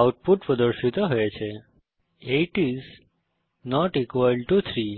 output পর্দায় প্রদর্শিত হয়েছে160 8 আইএস নট ইকুয়াল টো 3 সুতরাং